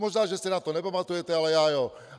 Možná že si na to nepamatujete, ale já jo.